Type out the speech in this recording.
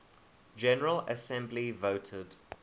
general assembly voted